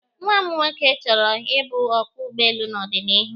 Nwa m nwoke chọrọ ịbụ ọkwọ ụgbọelu n'ọdịniihu